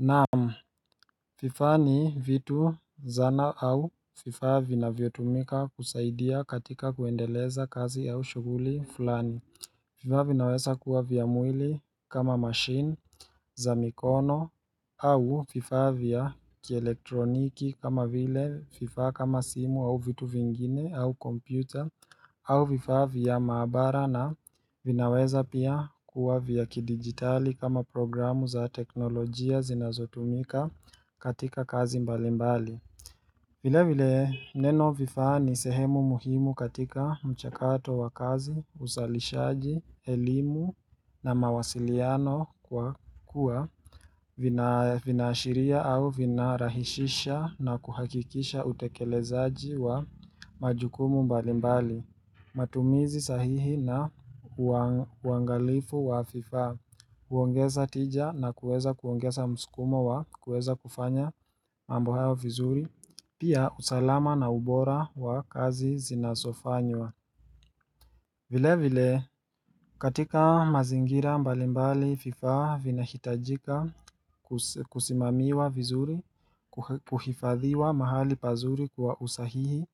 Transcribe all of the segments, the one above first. Naam, vifaa ni vitu zana au vifaa vina vyotumika kusaidia katika kuendeleza kazi au shuguli fulani vifaa vinaweza kuwa vya mwili kama machine za mikono au vifaa vya kielektroniki kama vile vifaa kama simu au vitu vingine au computer au vifaa vya maabara na vinaweza pia kuwa vya kidigitali kama programu za teknolojia zinazotumika katika kazi mbalimbali vile vile neno vifaa ni sehemu muhimu katika mchakato wa kazi, uzalishaji, elimu na mawasiliano kwa kuwa vinaashiria au vinarahishisha na kuhakikisha utekelezaji wa majukumu mbalimbali matumizi sahihi na uangalifu wa vifaa kuongeza tija na kuweza kuongeza muskumo wa kuweza kufanya mambo haya vizuri Pia usalama na ubora wa kazi zinasofanywa vile vile katika mazingira mbalimbali vifaa vina hitajika kusimamiwa vizuri kuhifadhiwa mahali pazuri kwa usahihi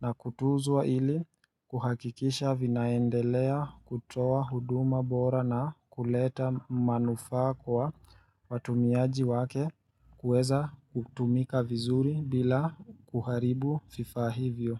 na kutuzwa ili kuhakikisha vinaendelea kutoa huduma bora na kuleta manufaa kwa watumiaji wake kueza kutumika vizuri bila kuharibu vifaa hivyo.